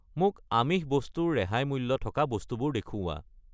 মোক আমিষ বস্তু ৰ ৰেহাই মূল্য থকা বস্তুবোৰ দেখুওৱা।